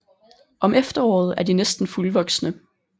Om efteråret er de næsten fuldvoksne